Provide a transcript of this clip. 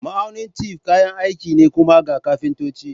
Ma'aunin tef kayan aiki ne kuma ga kafintoci.